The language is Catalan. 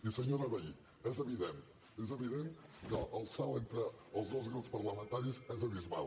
i senyora vehí és evident és evident que el salt entre els dos grups parlamentaris és abismal